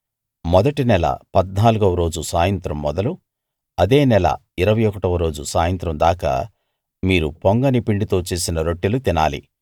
మొదటి నెల 14 వ రోజు సాయంత్రం మొదలు అదే నెల 21 వ రోజు సాయంత్రం దాకా మీరు పొంగని పిండితో చేసిన రొట్టెలు తినాలి